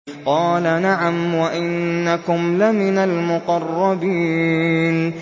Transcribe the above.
قَالَ نَعَمْ وَإِنَّكُمْ لَمِنَ الْمُقَرَّبِينَ